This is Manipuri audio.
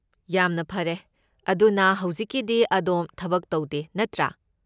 ꯌꯥꯝꯅ ꯐꯔꯦ꯫ ꯑꯗꯨꯅ, ꯍꯧꯖꯤꯛꯀꯤꯗꯤ ꯑꯗꯣꯝ ꯊꯕꯛ ꯇꯧꯗꯦ, ꯅꯠꯇ꯭ꯔꯥ?